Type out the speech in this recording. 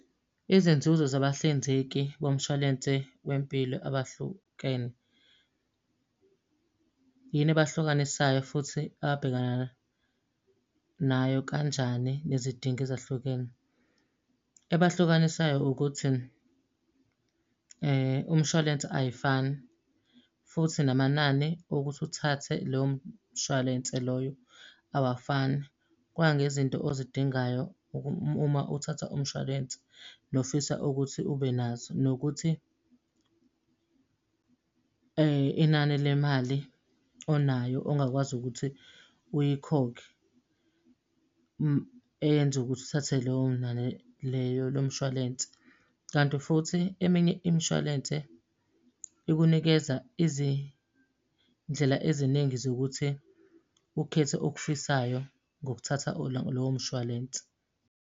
Izinzuzo zabahlinzeki bomshwalense wempilo abahlukene. Yini ebahlukanisayo futhi ababhekana nayo kanjani nezidingo ezahlukene? Ebahlukanisayo ukuthi, umshwalense ayifani, futhi namanani okuthi uthathe leyo mshwalense loyo awafani. Kuya ngezinto ozidingayo uma uthatha umshwalense, nofisa ukuthi ube nazo. Nokuthi inani le mali onayo ongakwazi ukuthi uyikhokhe eyenza ukuthi uthathe leyo nani leyo lo mshwalense. Kanti futhi eminye imishwalense ikunikeza izindlela eziningi zokuthi ukhethe okufisayo ngokuthatha lowo mshwalense.